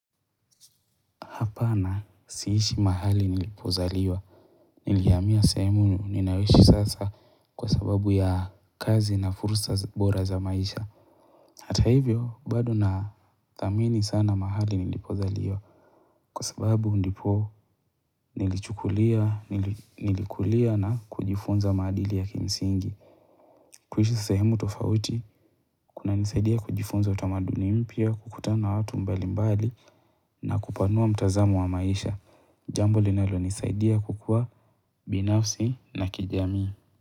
Hapana, si ishi mahali nilipozaliwa. Nilihamia sehemu ninayoishi sasa kwa sababu ya kazi na fursa bora za maisha. Hata hivyo, bado na dhamini sana mahali nilipozaliwa. Kwa sababu ndipo nilichukulia, nilikulia na kujifunza maadili ya kimsingi. Kuishi sehemu tofauti, kuna nisaidia kujifunza utamaduni mpya, kukutana na watu mbali mbali na kupanua mtazamo wa maisha. Jambo linalo nisaidia kukua binafsi na kijamii.